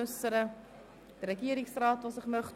Möchte sich der Regierungsrat äussern?